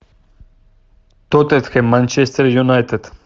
тоттенхэм манчестер юнайтед